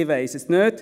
Ich weiss es nicht.